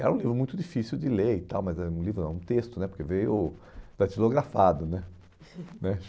Era um livro muito difícil de ler e tal, mas era um livro, era um texto né, porque veio datilografado, né? Né